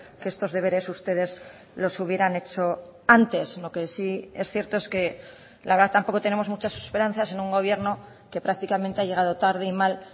que estos deberes ustedes los hubieran hecho antes lo que sí es cierto es que la verdad tampoco tenemos muchas esperanzas en un gobierno que prácticamente ha llegado tarde y mal